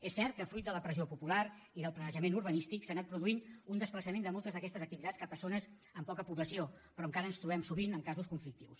és cert que fruit de la pressió popular i del planejament urbanístic s’ha anat produint un desplaçament de moltes d’aquestes activitats cap a zones amb poca població però encara ens trobem sovint amb casos conflictius